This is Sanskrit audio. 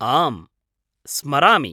आम्, स्मरामि।